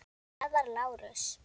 Það var Lárus.